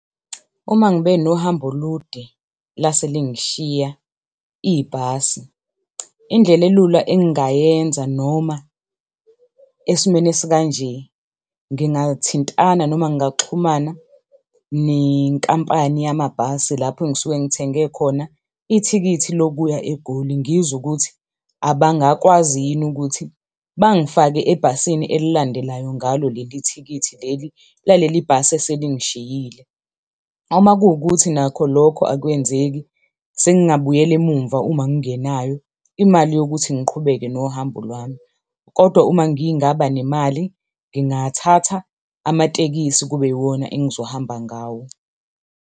Uma ngibe nohambo olude lase lingishiya ibhasi, indlela elula engingayenza noma esimweni esikanje ngingathintana noma ngingaxhumana nenkampani yamabhasi lapho engisuke ngithenge khona ithikithi lokuya eGoli, ngizwe ukuthi abangakwazi yini ukuthi bangifake ebhasini elilandelayo ngalo leli thikithi leli laleli bhasi eselingishiyile. Uma kuwukuthi nakho lokho akwenzeki sengabuyela emumva uma ngingenayo imali yokuthi ngiqhubeke nohambo lwami. Kodwa uma ngingaba nemali, ngingathatha amatekisi kube iwona engizohamba ngawo.